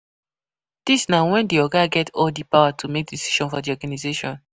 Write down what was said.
Dis na when di oga get all di power to make decision for the organisation